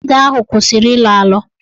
Ede ahụ kwụsịrị ịlọ alọ.